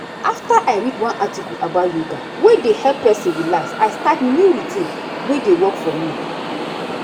after i read one article about yoga wey dey help person relax i start new routine wey dey work for me.